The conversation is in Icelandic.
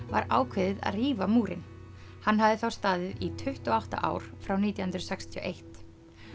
var ákveðið að rífa múrinn hann hafði þá staðið í tuttugu og átta ár frá nítján hundruð sextíu og eitt